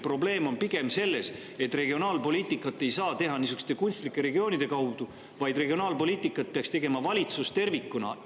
Probleem on pigem selles, et regionaalpoliitikat ei saa teha niisuguste kunstlike regioonide kaudu, vaid regionaalpoliitikat peaks tegema valitsus tervikuna.